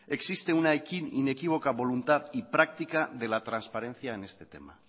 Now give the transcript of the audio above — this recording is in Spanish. existe una inequívoca voluntad y práctica de la transparencia en este tema